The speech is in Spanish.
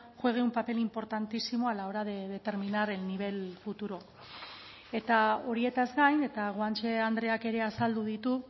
juegue un papel importantísimo a la hora de determinar el nivel futuro eta horietaz gain eta guanche andreak ere azaldu ditu